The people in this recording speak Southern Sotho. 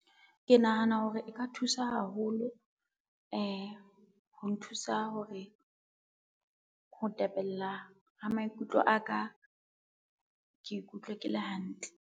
Ke nahana hore e ka thusa haholo ho nthusa hore, ho tepella ha maikutlo aka ke ikutlwe ke le hantle